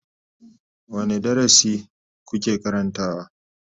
Wane darasi kuke karantawa?